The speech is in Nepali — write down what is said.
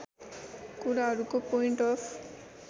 कुराहरूको पोइन्ट अफ